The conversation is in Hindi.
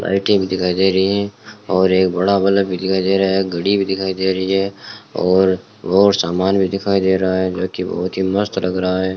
लाइटिंग दिखाई दे रही है और एक बड़ा बलब दिखाई दे रहा है घड़ी भी दिखाई दे रही है और बहोत सामान भी दिखाई दे रहा है जो की बहुत ही मस्त लग रहा है।